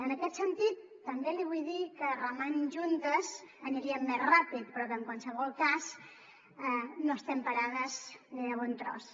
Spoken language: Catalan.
en aquest sentit també li vull dir que remant juntes aniríem més ràpid però que en qualsevol cas no estem parades ni de bon tros